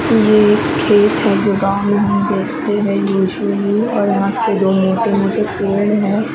ये एक खेत है जो गाँव में हम देखते है यूजुअली और धाख पे दो मोटे मोटे पेड़ है ।